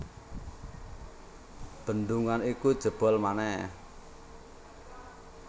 Bendungan iku jebol manèh